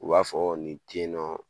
U b'a fɔ ni te yen nɔ